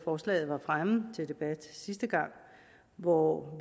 forslaget var fremme til debat sidste gang hvor